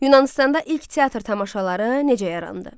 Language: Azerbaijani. Yunanıstanda ilk teatr tamaşaları necə yarandı?